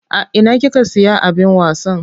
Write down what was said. A ina kika siya abin wasan?